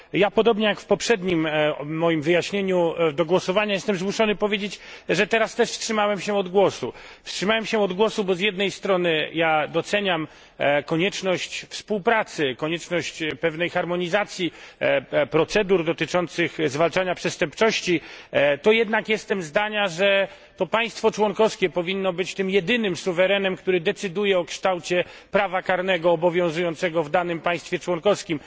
Podobnie jak w poprzednim moim wyjaśnieniu do głosowania jestem zmuszony powiedzieć, że teraz też wstrzymałem się od głosu. Wstrzymałem się od głosu, bo choć z jednej strony doceniam konieczność współpracy, konieczność pewnej harmonizacji procedur dotyczących zwalczania przestępczości, to jednak jestem zdania, że to państwo członkowskie powinno być tym jedynym suwerenem, który decyduje o kształcie prawa karnego obowiązującego w danym państwie członkowskim.